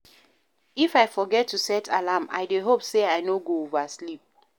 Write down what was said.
If I forget to set alarm, I dey hope sey I no go oversleep.